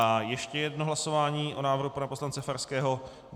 A ještě jedno hlasování o návrhu pana poslance Farského.